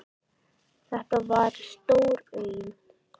Þetta var stór auðn.